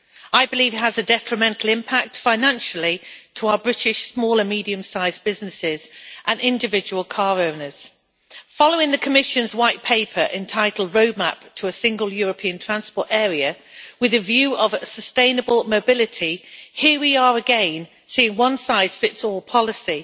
I believe it has a detrimental impact financially on our British small and medium-sized businesses and individual car owners. Following the Commission's White Paper entitled Roadmap to a Single European Transport Area', with its view of a sustainable mobility, here we are again seeing a one-size-fits-all policy,